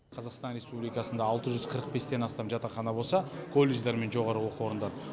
қазақстан республикасында алты жүз қырық бестен астам жатақхана болса колледждар мен жоғарғы оқу орындары